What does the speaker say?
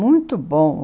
Muito bom.